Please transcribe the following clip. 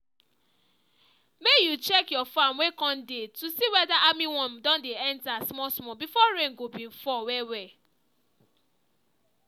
may you check your farm wey corn dey to see weda armyworm don dey enter small small before rain go being fall well well